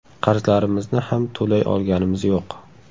Qarzlarimizni ham to‘lay olganimiz yo‘q.